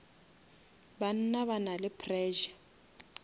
banna ba na le pressure